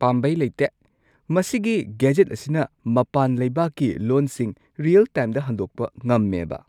ꯄꯥꯝꯕꯩ ꯂꯩꯇꯦ! ꯃꯁꯤꯒꯤ ꯒꯦꯖꯦꯠ ꯑꯁꯤꯅ ꯃꯄꯥꯟ ꯂꯩꯕꯥꯛꯀꯤ ꯂꯣꯟꯁꯤꯡ ꯔꯤꯌꯦꯜ-ꯇꯥꯏꯝꯗ ꯍꯟꯗꯣꯛꯄ ꯉꯝꯃꯦꯕꯥ?